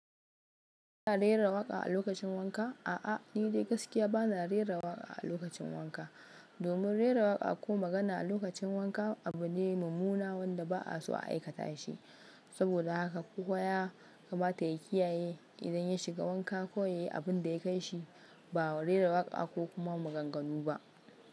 Kana rera waƙa a lokacin wanka. A'a, ni dai gaskiya bana rera waƙa a lokacin wanka. Domin rera waƙa ko magana a lokacin wanka abu ne mummuna wanda ba'a so a aikata shi. Saboda haka kowa ya kamata ya kiyaye, idan ya shiga wanka kawai yayi abunda ya kai shi, ba rera waƙa ko kuma maganganu ba.